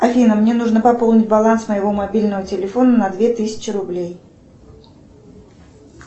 афина мне нужно пополнить баланс моего мобильного телефона на две тысячи рублей